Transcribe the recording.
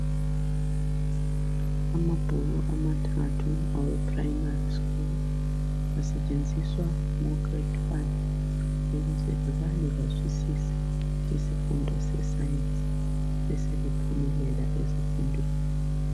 Amabhuku amathathu aweprimary school asetshenziswa ngograde one ukuze kubalwe bazwisise isifundo seScience besebephumelela ezifundweni.